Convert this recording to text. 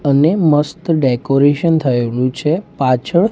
અને મસ્ત ડેકોરેશન થયેલુ છે પાછળ--